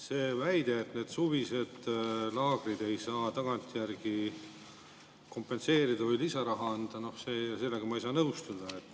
Selle väitega, et neid suviseid laagreid ei saa tagantjärgi kompenseerida või neile lisaraha anda, ma ei saa nõustuda.